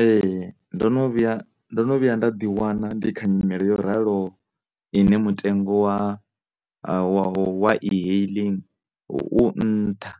Ee, ndo no vhuya, ndo no vhuya nda ḓi wana ndi kha nyimele yo raloho ine mutengo wa, wa, wa e-hailing u nṱha